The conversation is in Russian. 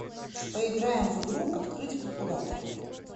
поиграем в игру открыть калькулятор